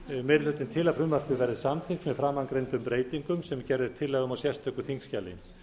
meiri hlutinn til að frumvarpið verði samþykkt með framangreindum breytingum sem gerð er tillaga um í sérstöku þingskjali